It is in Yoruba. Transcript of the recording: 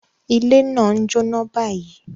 Ile naa n jóná báyìí.